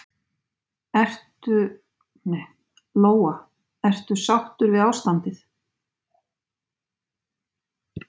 Lóa: Ertu sáttur við ástandið?